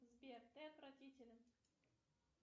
сбер ты отвратителен